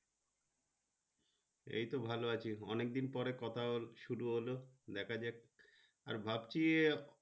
এই তো ভালো আছি অনেকদিন পরে কথা শুরু হলো দেখা যাক ভাবছি।